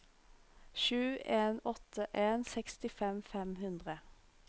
sju en åtte en sekstifem fem hundre